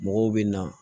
Mɔgɔw bɛ na